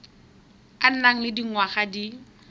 o nang le dingwaga di